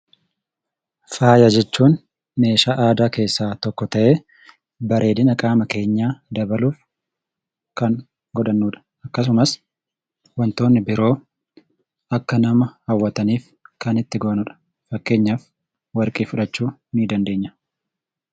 Faaya jechuun meeshaa aadaa keessaa tokko ta'ee, bareedina qaama keenyaa dabaluuf kan godhannudha. Akkasumas wantoonni biroo akka nama hawwataniif kan itti goonudha. Fakkeenyaaf warqee fudhachuu nidandeenya.